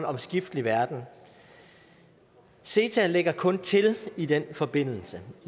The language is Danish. omskiftelig verden ceta lægger kun til i den forbindelse